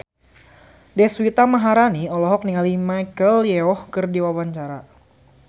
Deswita Maharani olohok ningali Michelle Yeoh keur diwawancara